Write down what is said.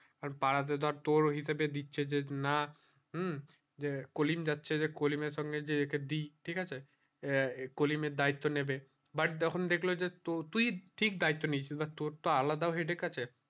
আর পাড়া তো তোর হিসাবে দিছে যে না হম যে কলিম যাচ্ছে যে কলিম এর সঙ্গে একে দি ঠিক আছে কলিম এর দায়িত্ব নেবে but যেখান দেখলো যে তো তুই ঠিক দায়িত্ব নিয়েছিস তোর তো আলাদা ও headache আছে